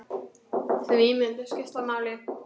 Því myndir skipta máli.